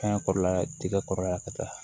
Fɛngɛ kɔrɔla tiga kɔrɔ yan ka taa